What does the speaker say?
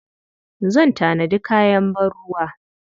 Zan tanadi kayan ban-ruwa.